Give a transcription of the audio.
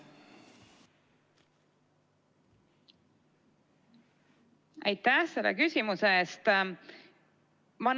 Aitäh selle küsimuse eest!